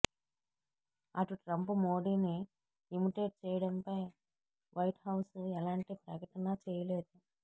అటు ట్రంప్ మోడీని ఇమిటేట్ చేయడంపై వైట్ హౌస్ ఎలాంటి ప్రకటనా చేయలేదు